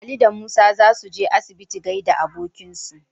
Ali da Musa za su je asibiti gaida abokinsu.